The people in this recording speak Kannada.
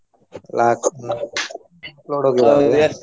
ನಾಕ್ ?